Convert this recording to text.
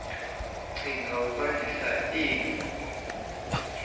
qhinga ukwandisa iinguqu